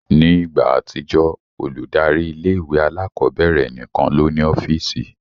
Ni igba atijọ, oludari ìlé-ìwé àlàkọbẹrẹ nikan lo ni ọfiisi